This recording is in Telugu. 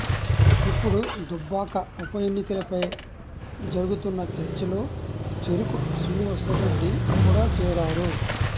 ఇప్పుడు దుబ్బాక ఉప ఎన్నికలపై జరుగుతున్న చర్చలో చెరుకు శ్రీనివాస్రెడ్డి కూడా చేరారు